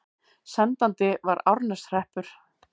Sendandi var Árneshreppur.